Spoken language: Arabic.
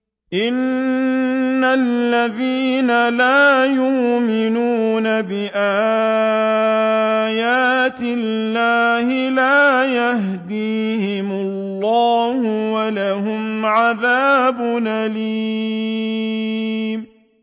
إِنَّ الَّذِينَ لَا يُؤْمِنُونَ بِآيَاتِ اللَّهِ لَا يَهْدِيهِمُ اللَّهُ وَلَهُمْ عَذَابٌ أَلِيمٌ